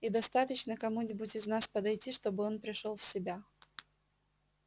и достаточно кому-нибудь из нас подойти чтобы он пришёл в себя